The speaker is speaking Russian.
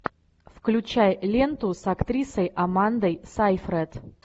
включай ленту с актрисой амандой сайфред